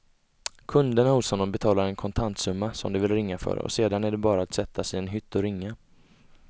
Kunderna hos honom betalar en kontantsumma som de vill ringa för och sedan är det bara att sätta sig i en hytt och ringa.